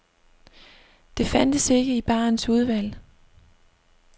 Det fandtes ikke i barens udvalg.